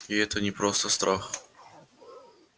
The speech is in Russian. и это не просто страх